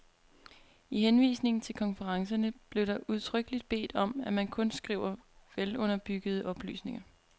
I henvisningen til konferencerne bliver der udtrykkeligt bedt om at man kun skriver velunderbyggede oplysninger.